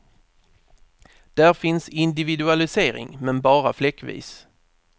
Där finns individualisering, men bara fläckvis.